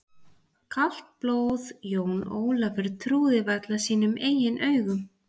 Kalt blóð, Jón Ólafur trúði varla sínum eigin eyrum.